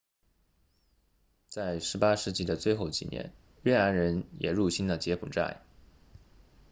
在18世纪的最后几年越南人也入侵了柬埔寨